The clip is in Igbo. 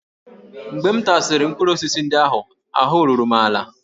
Mgbe m tasịrị mkpụrụ osisi ndị ahụ, ahụ́ ruru m ala